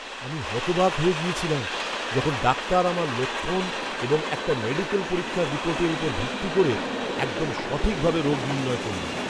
আমি হতবাক হয়ে গিয়েছিলাম যখন ডাক্তার আমার লক্ষণ এবং একটা মেডিকেল পরীক্ষার রিপোর্টের উপর ভিত্তি করে একদম সঠিকভাবে রোগ নির্ণয় করলেন!